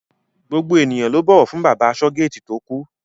Gbogbo ènìyàn ló bọ̀wọ̀ fún bàbá asọ́-géètì tó kú.